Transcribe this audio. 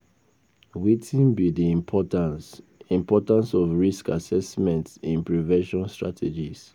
Wetin be di importance importance of risk assessment in prevention strategies?